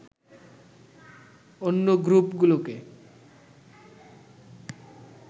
অন্য গ্রুপগুলোকে